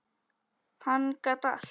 Hann gat allt.